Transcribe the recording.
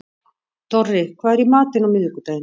Dorri, hvað er í matinn á miðvikudaginn?